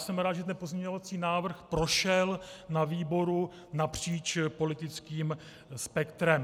Jsem rád, že ten pozměňovací návrh prošel na výboru napříč politickým spektrem.